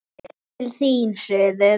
Yfir til þín, suður.